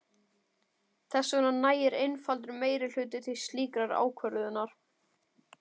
Þess vegna nægir einfaldur meirihluti til slíkrar ákvörðunar.